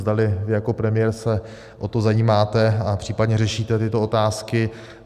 Zdali vy jako premiér se o to zajímáte a případně řešíte tyto otázky.